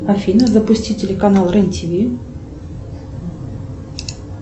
афина запусти телеканал рен тв